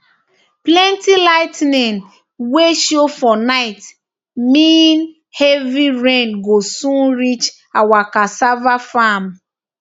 plenty lightning wey show for night mean heavy rain go soon reach our cassava farm